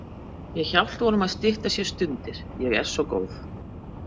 Ég hjálpa honum að stytta sér stundir, ég er svo góð.